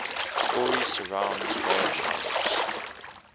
story surrounds voroshilov's